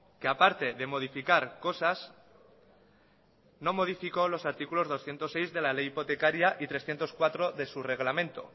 que aparte de modificar cosas no modificó los artículos doscientos seis de la ley hipotecaria y trescientos cuatro de su reglamento